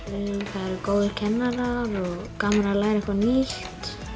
það eru góðir kennarar og gaman að læra eitthvað nýtt